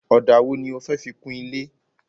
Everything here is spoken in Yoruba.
Ọ̀dà wo ni o fẹ́ fi kun ilé?